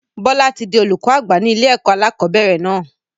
Bọlá tí di olùkọ́ àgbà ní ilé ẹ̀kọ́ alakọ̀bẹ́ẹ́rẹ̀ náà